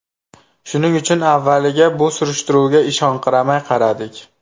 Shuning uchun avvaliga bu surishtiruvga ishonqiramay qaradik.